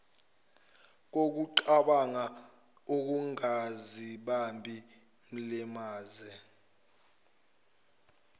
kokucabanga ungazibambi mlimaze